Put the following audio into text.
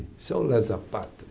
Isso é um lesa-pátria.